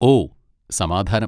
ഓ, സമാധാനം.